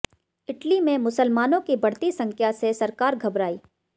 Italy में मुसलमानों की बढ़ती संख्या से सरकार घबरायीं